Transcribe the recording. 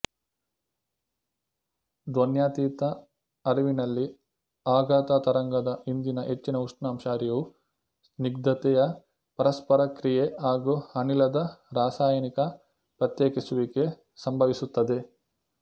ಧ್ವನ್ಯಾತೀತ ಹರಿವಿನಲ್ಲಿ ಆಘಾತ ತರಂಗದ ಹಿಂದಿನ ಹೆಚ್ಚಿನ ಉಷ್ಣಾಂಶ ಹರಿವು ಸ್ನಿಗ್ಧತೆಯ ಪರಸ್ಪರಕ್ರಿಯೆ ಹಾಗೂ ಅನಿಲದ ರಾಸಾಯನಿಕ ಪ್ರತ್ಯೇಕಿಸುವಿಕೆ ಸಂಭವಿಸುತ್ತದೆ